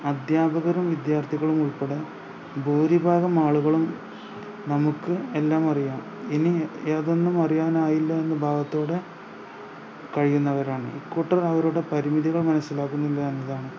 അദ്ധ്യാപകരും വിദ്യാർത്ഥികളും ഉൾപ്പെടെ ഭൂരിഭാഗം ആളുകളും നമുക്ക് എല്ലാമറിയാം ഇനി യാതൊന്നും അറിയാനായില്ല എന്ന ഭാവത്തോടെ കഴിയുന്നവരാണ് ഈ കൂട്ടർ അവരുടെ പരിമിതികൾ മനസ്സിലാക്കുന്നില്ല എന്നതാണ്